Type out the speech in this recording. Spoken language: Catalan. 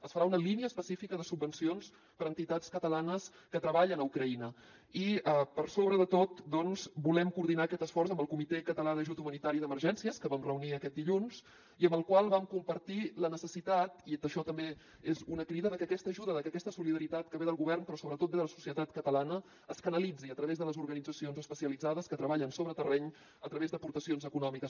es farà una línia específica de subvencions per a entitats catalanes que treballen a ucraïna i per sobre de tot doncs volem coordinar aquest esforç amb el comitè català d’ajut humanitari d’emergències que vam reunir aquest dilluns i amb el qual vam compartir la necessitat i això també és una crida de que aquesta ajuda de que aquesta solidaritat que ve del govern però sobretot ve de la societat catalana es canalitzi a través de les organitzacions especialitzades que treballen sobre terreny a través d’aportacions econòmiques